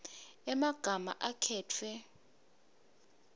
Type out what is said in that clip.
emagama akhetfwe